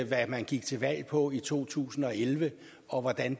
hvad man gik til valg på i to tusind og elleve og hvordan